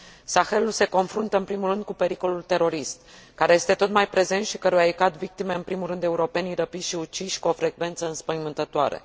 Sahelul se confruntă, în primul rând, cu pericolul terorist, care este tot mai prezent și căruia îi cad victime, în primul rând, europenii răpiți și uciși cu o frecvență înspăimântătoare.